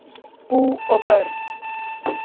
Bú og börn